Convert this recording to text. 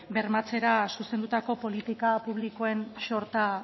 bermatzera zuzendutako politika publikoen xorta